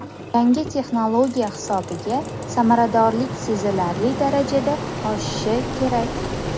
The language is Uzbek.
Yangi texnologiya hisobiga samaradorlik sezilarli darajada oshishi kerak.